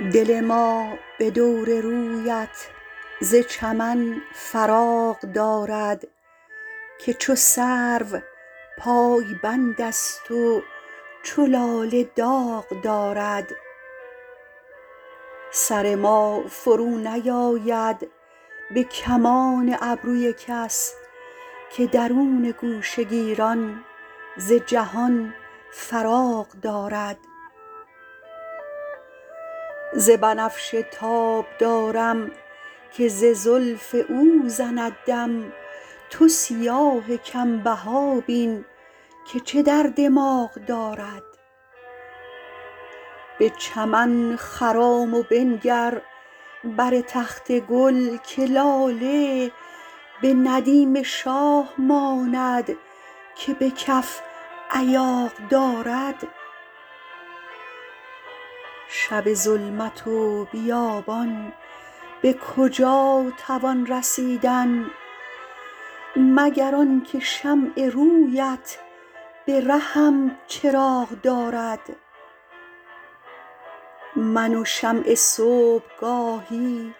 دل ما به دور رویت ز چمن فراغ دارد که چو سرو پایبند است و چو لاله داغ دارد سر ما فرونیآید به کمان ابروی کس که درون گوشه گیران ز جهان فراغ دارد ز بنفشه تاب دارم که ز زلف او زند دم تو سیاه کم بها بین که چه در دماغ دارد به چمن خرام و بنگر بر تخت گل که لاله به ندیم شاه ماند که به کف ایاغ دارد شب ظلمت و بیابان به کجا توان رسیدن مگر آن که شمع روی ات به رهم چراغ دارد من و شمع صبح گاهی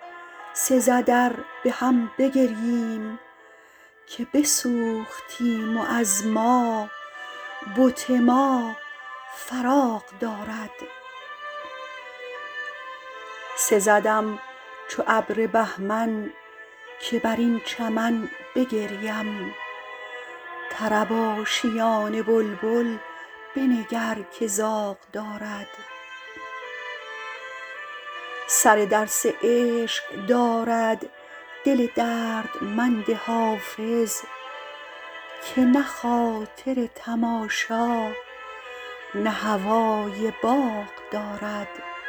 سزد ار به هم بگرییم که بسوختیم و از ما بت ما فراغ دارد سزدم چو ابر بهمن که بر این چمن بگریم طرب آشیان بلبل بنگر که زاغ دارد سر درس عشق دارد دل دردمند حافظ که نه خاطر تماشا نه هوای باغ دارد